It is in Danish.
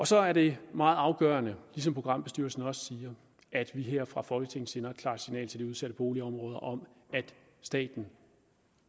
så er det meget afgørende som programbestyrelsen også siger at vi her fra folketingets side sender et klart signal til de udsatte boligområder om at staten